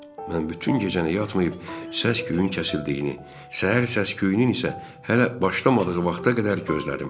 Mən bütün gecəni yatmayıb, səs-küyün kəsildiyini, səhər səs-küyünün isə hələ başlamadığı vaxta qədər gözlədim.